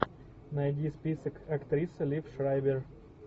найди список актриса лив шрайбер